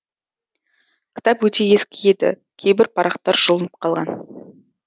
кітап өте ескі еді кейбір парақтар жұлынып қалған